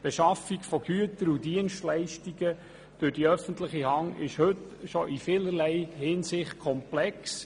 Die Beschaffung von Gütern und Dienstleistungen durch die öffentliche Hand ist heute schon in vielerlei Hinsichten komplex.